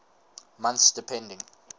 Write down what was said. months depending